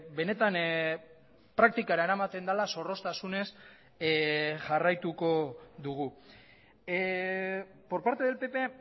benetan praktikara eramaten dela zorroztasunez jarraituko dugu por parte del pp